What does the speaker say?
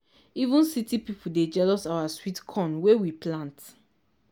even city people dey jealous our sweet corn wey we plant.